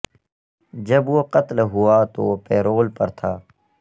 جب وہ قتل ہوا تو وہ پیرول پر تھا